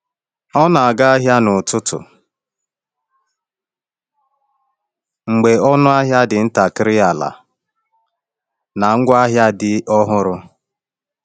Ọ na-aga ahịa n’ụtụtụ mgbe ọnụ ahịa dị ntakịrị ala na ngwa ahịa dị ọhụrụ.